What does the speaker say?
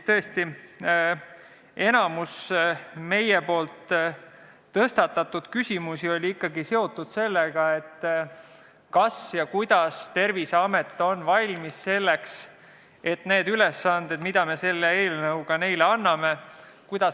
Tõesti, enamik meie tõstatatud küsimusi oli seotud sellega, kas ja kuidas on Terviseamet valmis tulema toime nende ülesannetega, mis me selle eelnõuga neile anname.